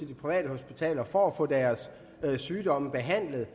de private hospitaler for at få deres sygdomme behandlet